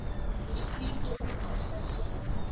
lusito uma ahlahlela